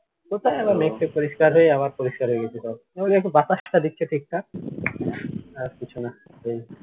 আবার মেঘ টেঘ পরিষ্কার হয়ে আবার পরিষ্কার হয়ে গেছে সব একটু বাতাস টা দিচ্ছে ঠিকঠাক আর কিছুনা